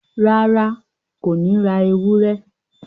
Rárá, Kò ní ra ewúrẹ́